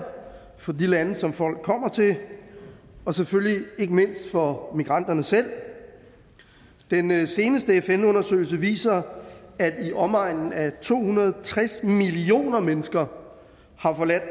for de lande som folk kommer til og selvfølgelig ikke mindst for migranterne selv den seneste fn undersøgelse viser at i omegnen af to hundrede og tres millioner mennesker har forladt